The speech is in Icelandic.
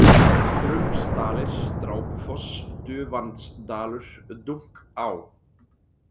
Drumbsdalir, Drápufoss, Dufandsdalur, Dunká